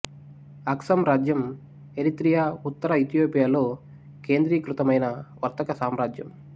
Aksum రాజ్యం Eritrea ఉత్తర ఇథియోపియాలో కేంద్రీకృతమైన వర్తక సామ్రాజ్యం